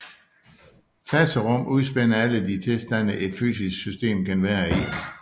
Faserum udspænder alle de tilstande et fysisk system kan være i